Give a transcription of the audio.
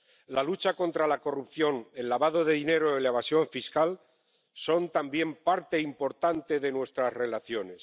La lucha contra la corrupción, el lavado de dinero y la evasión fiscal son también parte importante de nuestras relaciones.